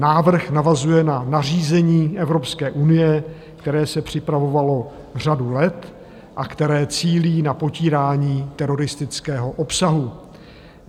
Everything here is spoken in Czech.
Návrh navazuje na nařízení Evropské unie, které se připravovalo řadu let a které cílí na potírání teroristického obsahu.